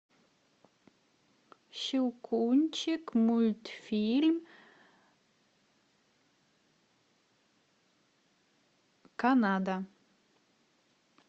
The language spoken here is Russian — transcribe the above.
щелкунчик мультфильм канада